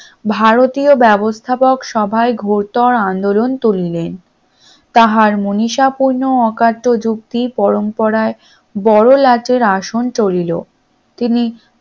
ভারতীয় ব্যবস্থাপক সভায় ঘোড়তড় আন্দোলন তুলিলেন তাহার মনীষা পণ্য অকাট্য যুক্তি পরম্পরায় বড়লাটের আসন টলিলো তিনি